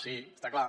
sí està clar